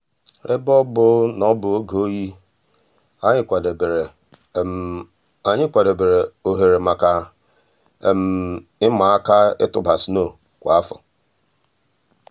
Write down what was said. èbè ọ̀ bụ̀ nà ọ̀ bụ̀ ògè òyì ànyị̀ kwàdèbèrè ànyị̀ kwàdèbèrè òhèrè mǎká ị̀mà um àkà ị̀tụ̀bà snow kwa áfọ̀.